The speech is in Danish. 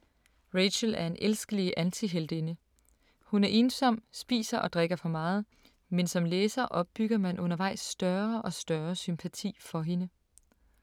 Rachel er en elskelig antiheltinde. Hun er ensom, spiser og drikker for meget, men som læser opbygger man undervejs større og større sympati for hende.